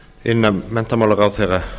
inna hæstvirtan menntamálaráðherra